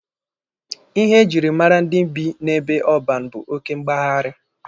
Ihe ejiri mara ndị bi n'ebe ọban bụ oke mgbagharị.